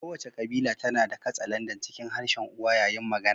Kowace kabila tana da katsalandan cikin harshen uwa yayin magana.